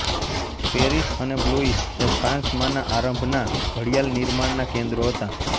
Paris અને Blois એ ફ્રાંસમાંના આરંભના ઘડિયાળનિર્માણનાં કેન્દ્રો હતાં